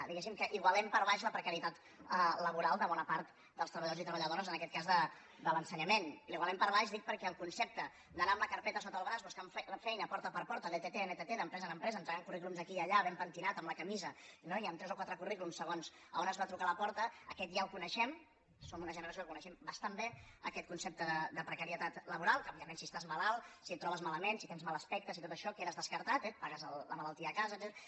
diguéssim que igualem per baix la pre·carietat laboral de bona part dels treballadors i treba·lladores en aquest cas de l’ensenyament i la igualem per baix dic perquè el concepte d’anar amb la carpe·ta sota el braç buscant feina porta per porta d’ett en ett d’empresa en empresa entregant currículums aquí i allà ben pentinat amb la camisa no i amb tres o quatre currículums segons a on es va a trucar a la porta aquest ja el coneixem som una generació que coneixem bastant bé aquest concepte de precarietat la·boral que òbviament si estàs malalt si et trobes ma·lament si tens mal aspecte si tot això quedes descar·tat eh et passes la malaltia a casa etcètera